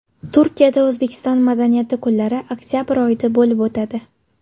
Turkiyada O‘zbekiston madaniyati kunlari oktabr oyida bo‘lib o‘tadi.